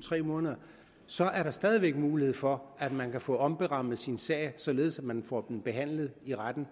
tre måneder og så er der stadig væk mulighed for at man kan få omberammet sin sag således at man får den behandlet i retten